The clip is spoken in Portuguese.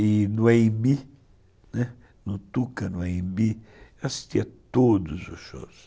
E no A&B, no Tuca, no A&B, eu assistia a todos os shows.